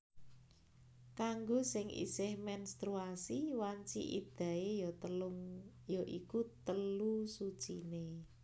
Kanggo sing isih menstruasi wanci iddahé ya iku telu suciné